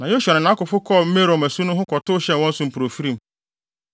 Na Yosua ne nʼakofo kɔɔ Merom asu no ho kɔtow hyɛɛ wɔn so mpofirim.